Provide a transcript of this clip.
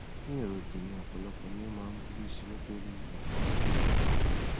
ní èrò tèmi ọpọlọpọ ni o máa ń burú sí i nítorí àkóràn ẹdọfóró